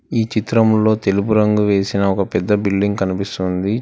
ఈ చిత్రంలో తెలుపు రంగు వేసిన ఒక పెద్ద బిల్డింగ్ కనిపిస్తోంది.